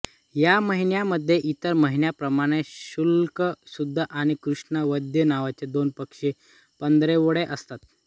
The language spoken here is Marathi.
या महिन्यामध्ये इतर महिन्यांप्रमाणेच शुक्ल शुद्ध आणि कृष्ण वद्य नावाचे दोन पक्ष पंधरवडे असतात